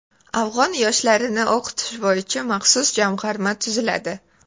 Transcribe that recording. Afg‘on yoshlarini o‘qitish bo‘yicha maxsus jamg‘arma tuziladi.